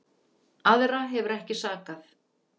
Aðra hefur ekki sakað